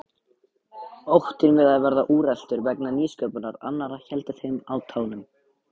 Óttinn við að verða úreltur vegna nýsköpunar annarra héldi þeim á tánum.